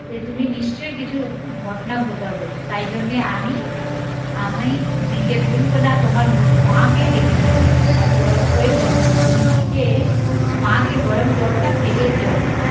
যে তুমি নিশ্চই কিছু ঘটনা ঘটাবে তাই জন্যই আমি নিজের বোনকে না তোমার মা কে ডেকেছি আর ওই হয়েছে তুমি নিজের মা কে গরম জল টা ফেলেছ